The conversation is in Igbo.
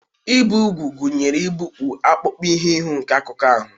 Ibi úgwù gụnyere igbupụ akpụkpọ ihu ihu nke akụkụ ahụ